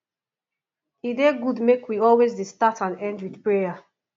e dey good make wealways dey start and end with prayer